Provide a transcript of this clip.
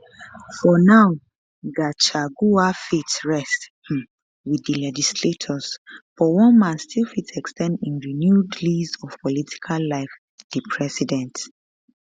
for now gachagua fate rest um wit di legislators but one man still fit ex ten d im renewed lease of political life di president